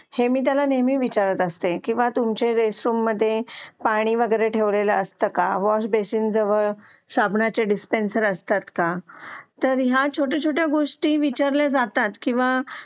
हे मी त्याला नेहमी विचारत असते किंवा तुमच्या शौचालयामध्ये पाणी वगैरे ठेवलेले असते का वॉश बेसिंग जवळ साबणाचे डिस्टेन्सर असतात का तर ह्या छोट्या छोट्या गोष्टी विचारल्या जातात किंवा